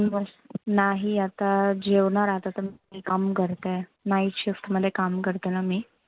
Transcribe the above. नाही आता जेवणार आता तर काम करते. night shift मध्ये काम करते ना मी.